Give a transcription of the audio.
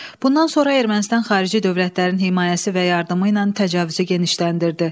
Bundan sonra Ermənistan xarici dövlətlərin himayəsi və yardımı ilə təcavüzü genişləndirdi.